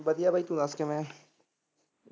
ਵਧੀਆ ਬਾਈ ਤੂੰ ਦੱਸ ਕਿਵੇਂ ਐ?